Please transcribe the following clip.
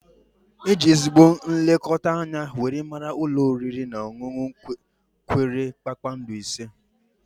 E ji ezigbo nlekọta anya were mara ulọ oriri na ọṅụnụ kwere kpakpando ise